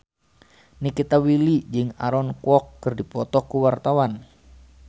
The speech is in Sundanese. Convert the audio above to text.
Nikita Willy jeung Aaron Kwok keur dipoto ku wartawan